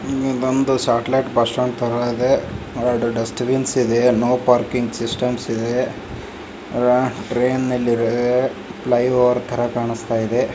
ಈದ್ ಬಂದು satellite bus stand ತರ ಇದೆ ಎರಡು ಡಸ್ಟ್ ಬಿನ್ ಇದೆ ಫ್ಲೈ ಓವರ್ ತರ ಕಾಣಿಸ್ತಾ ಇದೆ.